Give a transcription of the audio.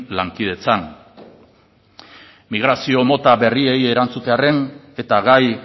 lankidetzan migrazio mota berriei erantzutearren eta gai